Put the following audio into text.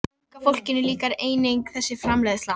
Unga fólkinu líkar einnig þessi framreiðsla.